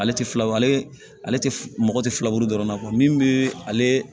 Ale tɛ filabu ale tɛ mɔgɔ tɛ filaburu dɔrɔn kɔ min bɛ ale